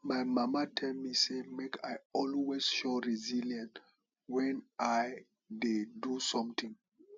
my mama tell me say make i always show resilience wen i dey do something